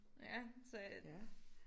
Ja så jeg